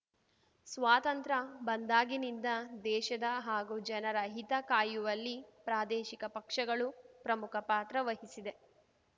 ಸ್ವಾತಂತ್ರ್ಯ ಬಂದಾಗಿನಿಂದ ದೇಶದ ಹಾಗೂ ಜನರ ಹಿತ ಕಾಯುವಲ್ಲಿ ಪ್ರಾದೇಶಿಕ ಪಕ್ಷಗಳು ಪ್ರಮುಖ ಪಾತ್ರ ವಹಿಸಿದೆ